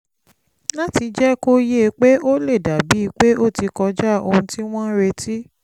láti jẹ́ kó yé e pé ó lè dà bíi pé ó ti kọjá ohun tí wọ́n ń retí